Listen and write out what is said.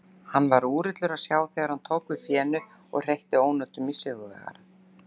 Hann var úrillur að sjá þegar hann tók við fénu og hreytti ónotum í sigurvegarann.